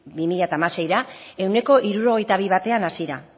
bi mila hamaseira ehuneko hirurogeita bi batean hasi da